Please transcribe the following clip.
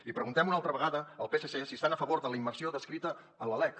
i preguntem una altra vegada al psc si estan a favor de la immersió descrita en la lec